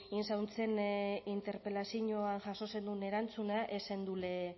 ein zauntzen interpelazioan jaso zendun erantzuna ez zendule